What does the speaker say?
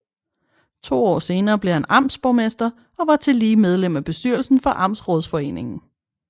To år senere blev han amtsborgmester og var tillige medlem af bestyrelsen for Amtsrådsforeningen